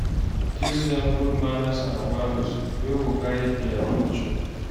Teach dem good manners and values wey go guide their future